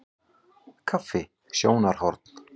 Kaffi- sjónarhorn.